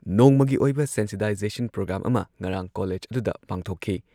national education policy ꯂꯤꯁꯤꯡ ꯑꯅꯤ ꯀꯨꯟꯒꯤ ꯃꯇꯥꯡꯗ